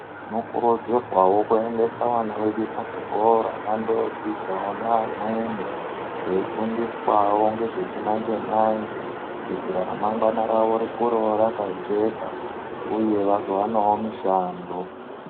Tino kurudzirwawo ku endesa vana vedu mu zvikora vando dzidzawo ne amweni vei fundiswawo ngezve chi manje manje kuitira ra mangwana ravo rikurewo raka jeka uye vazo wanawo mishando.